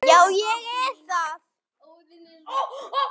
Já, ég er það.